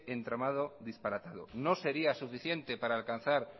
entramado disparatado no sería suficiente para alcanzar